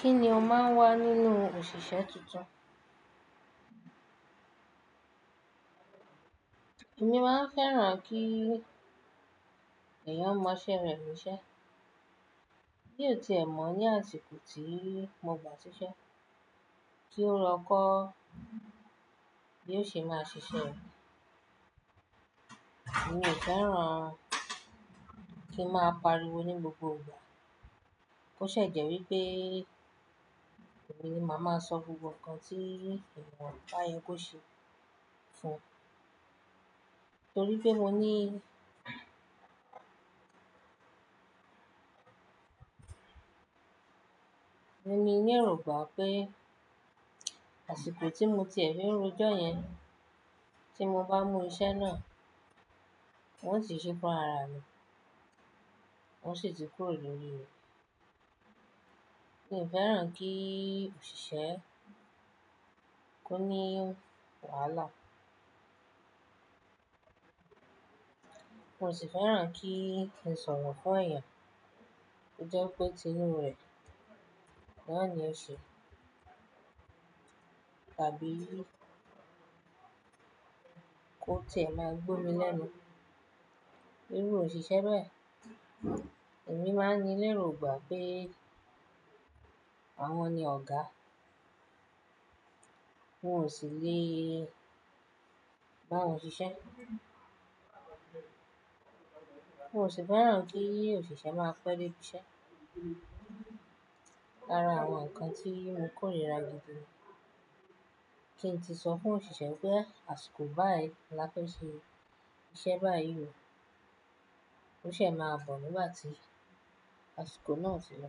Kí ni o máa ń wá nínú òṣìṣẹ́ tuntun? Èmi máa ń fẹ́ràn kí èèyàn mọ iṣẹ́ rẹ̀ ní iṣẹ́. Bí ó ti è mọ̀ ní àsìkò tí mo gbà ṣiṣẹ́, kí ó lọ kọ́ bí ó ṣe máa ṣiṣẹ́ rẹ̀. Èmi ò fẹ́ràn kí ń máa pariwo ní gbogbo ìgbà. Ó ṣe jẹ́ wípé èmi ni màá máa sọ gbogbo ǹkan tí èèyàn bá yẹ kó ṣe fún un, torí pé mo ní èmi ní èrògbà pé àsìkò tí mo ti e fi rojọ́ yẹn tí mo bá mú iṣẹ́ náà, wọn ti ṣe fún rara mi, wọn sì ti kúrò lórí rẹ̀. Èmi fẹ́ràn kí òṣìṣẹ́ kó ní wàhálà. Mo sì fẹ́ràn kí n sọ̀rọ̀ fún èèyàn, kí ó jẹ́ pé tinú rẹ̀ náà ni a ṣe, tàbí kó tì ẹ́ máa gbọ́ mi lẹ́nu iru òṣìṣẹ́ bẹ̀. Ẹ̀mí máa ń ní lérògbà pé àwọn ni ọ̀gá, wọn ò sì le bá wọn ṣiṣẹ́. Mo sì fẹ́ràn kí òṣìṣẹ́ máa pẹ́ dé ibi iṣẹ́. Lára àwọn ǹkan tí mo kórìíra gidi ni kí n ti sọ fún òṣìṣẹ́ pé àsìkò báyìí la tó ṣe iṣẹ́ báyìí o, ó ṣe é máa bọ̀ nígbà tí àsìkò náà ti lọ.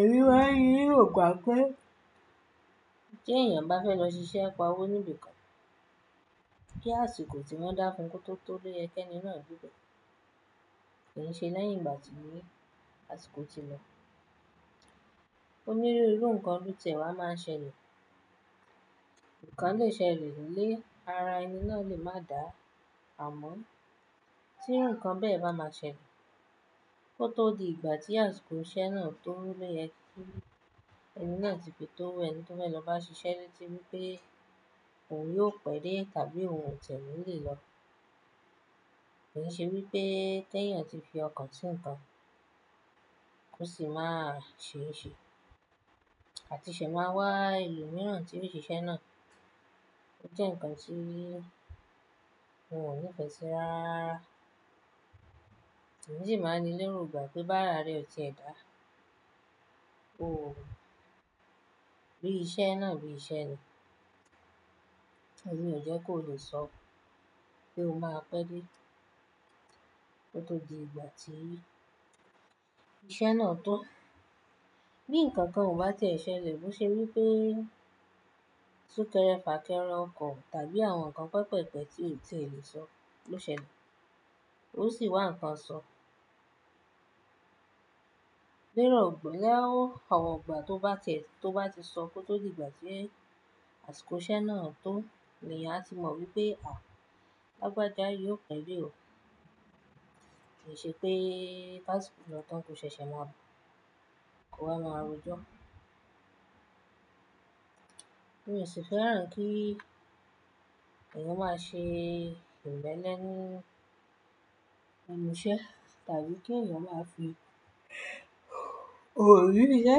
Èmi máa ń ní èrògbà pé kí èèyàn bá fẹ́ lọ ṣiṣẹ́ pa wọ́n níbi kan, kí àsìkò tí wọ́n dá fún kó tó tó loye kí ẹni náà debe, kì í ṣe lẹ́yìn ìgbà tí àsìkò ti lọ. Onírúurú ǹkan lo ti e wá máa ṣẹlẹ̀. Ǹkan lè ṣẹlẹ̀ lé ara ẹni náà lè má dà ámọ́ tí ǹkan bẹ́ẹ̀ bá máa ṣẹlẹ̀. Ó tó di ìgbà tí àsìkò iṣẹ́ náà tó loyẹ kí ẹni náà ti fi tó ẹni tó fẹ́ lọ bá ṣiṣẹ́ leti wípé òun yóò pẹ́ dé tàbí òun ò tie ni lè lọ. Kì í ṣe wípé kí ẹ̀yàn ti fi ọkàn sí ǹkan kó sì máa ṣe é ṣe àti ṣe máa wá elo mìíràn tí ibi iṣẹ́ náà. Ó jẹ́ ǹkan tí mò ní ìfẹ́ si rararara. Èmi sì máa ń ní lérògbà pé bá ara rẹ o ti ẹ̀ dá, òun bí iṣẹ́ náà bí iṣẹ́ ni. Ni ò jẹ́ kó lè sọ pé ó máa pẹ́ dé kó tó di ìgbà tí iṣẹ́ náà to. Bí ǹkan kan ò bá tẹ̀ ẹ́ ṣẹlẹ̀, boṣe wípé súkẹ́rẹ́ fàkẹ́rẹ́ oko tàbí àwọn ǹkan pẹpẹ̀pẹ̀ tí ò ti lè sọ ló ṣẹlẹ̀. Ó sì wà ǹkan sọ. Lérògbà, lẹ́ẹ̀ ni àwọn ìgbà tó bá tẹ̀ tó bá ti sọ kó tó di ìgbà tí è àsìkò iṣẹ́ náà to ni èyàn a ti mọ̀ wípé à, lágbájá yóò pẹ́ dé o. Kì í ṣe pé kásìkò lo tán ko ṣẹ̀ṣẹ̀ máa bọ̀, kó wa máa rojọ́. Mi ò sì fẹ́ràn kí èèyàn máa ṣe ìmele ni ẹ́nu iṣẹ́ tàbí kí èèyàn máa fi òri ìṣe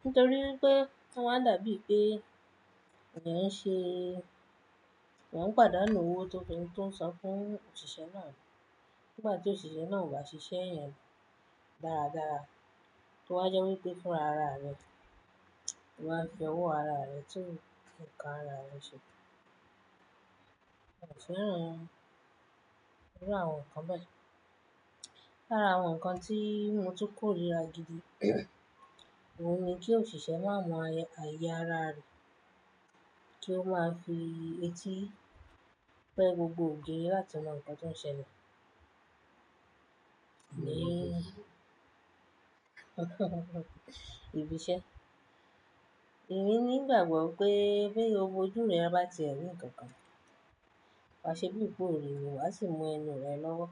nítorí wípé oma dàbí pé èèyàn ń ṣe èyàn ń pàdánù owó tó ti ń sọ fún òṣìṣẹ́ náà. Nígbàtí òṣìṣẹ́ náà ò bá ṣiṣẹ́ ìyẹn dáradára, to wá jẹ́ wípé fún ara rẹ̀, lo wá fi ọwọ́ ara rẹ̀ tú ǹkan ara rẹ̀ ṣe. Mo ò fẹ́ran irú àwọn ǹkan bẹ́ẹ̀. Lára àwọn ǹkan tí mo ti kórìíra gidi òun ni kí òṣìṣẹ́ máa mọ ààyè ara rẹ̀ kí ó máa fi etí pẹ́ gbogbo ògiri láti mọ ǹkan tó ń ṣẹlẹ̀ ní ibi iṣẹ́. Èmi ní ìgbàgbọ́ pé bí owó ojú rẹ bá ti ẹ̀ rí ǹkan kan, wá ṣe bí i pé ò ri ni wa sì mú ẹnu rẹ lọ́wọ́.